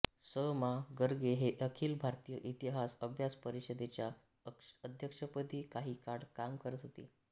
स मा गर्गे हे अखिल भारतीय इतिहास अभ्यास परिषदेच्या अध्यक्षपदी काही काळ काम करत होते